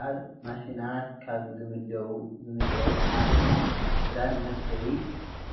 ኣብ ማሽናት ካብ ዝምደቡ ሓደ ናይ ክዳን መስፈይ